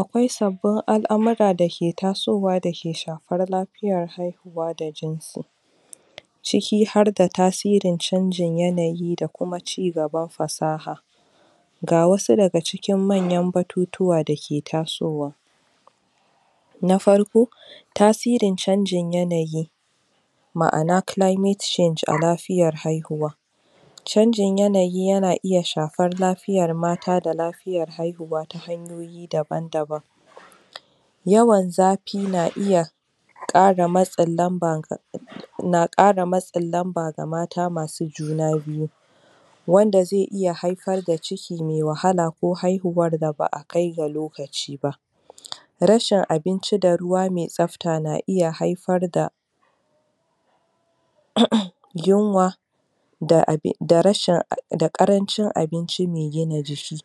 Akwai sabbin al’Akwai sabbin al’amurra da tasowa dake shafar lafiyar haihuwa da jinsi ciki har da tasirin canjin yanayi da kuma cigaban fasaha ga wasu daga cikin manyar batutuwa dake tasowa na farko tasirin canjin yanayi ma’ana ma’ana climate change a lafiyar haihu canjin yanayi yana iya shafar lafiyar mata da lafiyar haihuwa ta hanyoyi daban daban yawan zafi na iya ƙara matsin lamba na ƙara matsin lamba ga mata masu juna biyu wanda zai iya haifar da ciki mai wahala ko haihuwar da ba’a kai ga lokaci ba rashin abinci da ruwa mai tsafta na iya haifar da um yunwa da abin d rashin da ƙarancin abinci mai gina jiki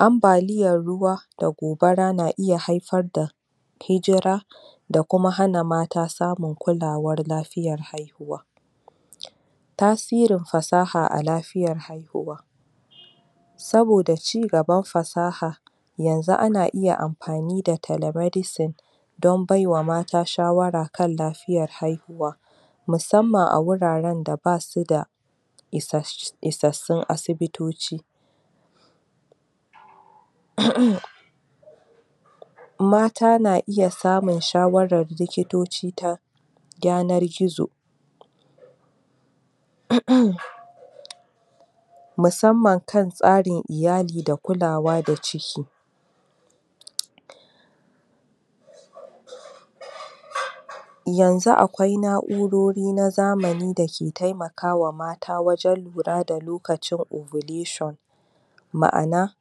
ambaliyar ruwa da gobara na iya haifar da hijira da kuma hana mata samun kulawar lafiyar haihuwa tasirin fasaha a lafiyar haihuwa saboda cigaban fasaha yanzu ana iya amfani da telemedicine dan baiwa mata shawara kan lafiyar haihuwa musamman a wurare da basu da isas isassun asibitoci um mata na iya samun shawarar likitoci ta yanar gizo um musamman kan tsarin iyali da kulawa da ciki yanzu akwai na’urori na zamani dake taimakawa mata wajan lura da lokacin ovulation ma’ana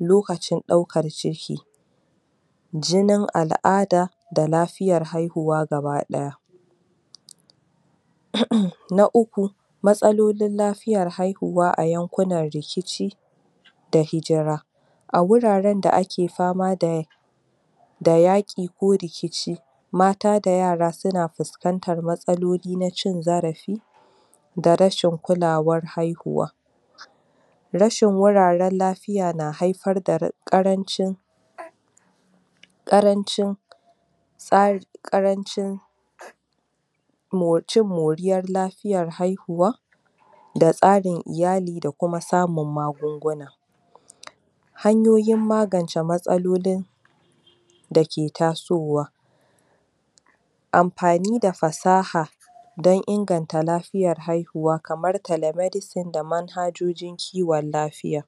lokacin ɗaukar ciki jinin al’ada da lafiyar haihuwa gaba ɗaya um na uku matsalolin lafiyar haihuwa a yankunan rikici da hijira a wuraren da ake fama da da yaƙi ko rikici mata da yara suna fuskantar matsaloli na cin zarafin\ da rashin kulawar haihuwa rashin wuraran lafiya na haifar da ra ƙarancin ƙarancin tsari, ƙarancin mocin cin moriyar lafiyar haihuwa da tsarin iyali da kuma samun magunguna hanyoyin magance matsalolin dake tasowa amfani da fasaha dan inganta lafiyar haihuwa kamar telemedicine da manhajojin kiwon lafiya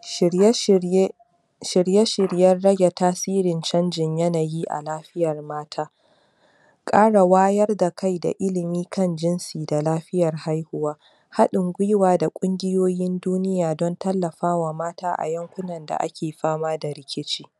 shirye-shirye shirye shiryen rage tasirin canjin yanayi a lafiyar mata ƙara wayar da kai da ilimin kan jinsi da lafiyar haihuwa haɗin gwiwa da ƙungiyoyin duniya don tallafawa mata a yankunan da ake fama da rikicin